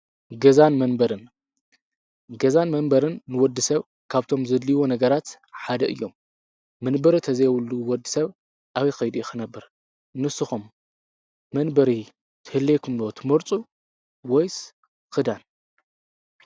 ገዛን መንበርን - ገዛን መንበርን ንወድሰብ ካብ'ቶም ዘድልይዎ ነገራት ሓደ እዮም መንበሪ ተዘይብሉ ወድሰብ ኣበይ ከይዱ እዩ ክነብር ንስኩም መንበሪ ክህልዎኩም ዶ ትመርፁ ወይስ ክዳን ?